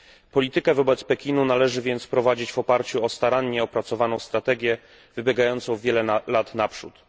Politykę wobec Pekinu należy więc prowadzić w oparciu o starannie opracowaną strategię, wybiegającą wiele lat naprzód.